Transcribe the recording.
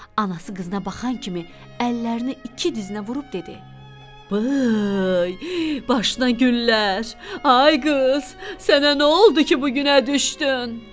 Anası qızına baxan kimi əllərini iki dizinə vurub dedi: "Bıy! Başına günlər! Ay qız, sənə nə oldu ki, bu günə düşdün?"